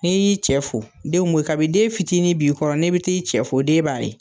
N'i y'i cɛ fo denw bɛ , kabi den fitinin b'i kɔrɔ ne bi t'i cɛ fo den b'a ye.